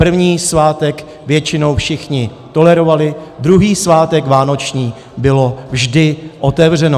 První svátek většinou všichni tolerovali, druhý svátek vánoční bylo vždy otevřeno.